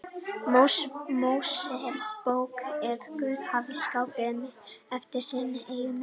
Mósebók að Guð hafi skapað manninn eftir sinni eigin mynd.